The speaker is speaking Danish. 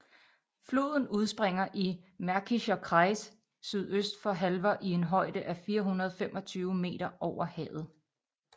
Floden udspringer i Märkischer Kreis sydøst for Halver i en højde af 425 meter over havet